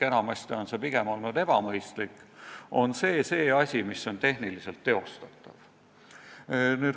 Enamasti on see pigem olnud ebamõistlik, aga see on asi, mis on tehniliselt teostatav.